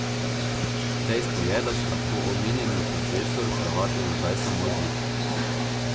Dejstvo je, da si lahko omenjeni profesor kravato za zdaj samo zlika.